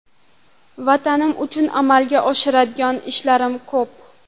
Vatanim uchun amalga oshiradigan ishlarim ko‘p.